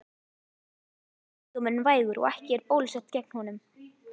Yfirleitt er sjúkdómurinn vægur og ekki er bólusett gegn honum.